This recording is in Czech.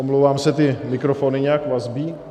Omlouvám se, ty mikrofony nějak vazbí.